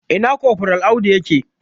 Ina kofral Audu ya ke?